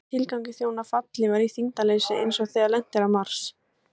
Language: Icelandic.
Hvaða tilgangi þjóna fallhlífar í þyngdarleysi eins og þegar lent er á Mars?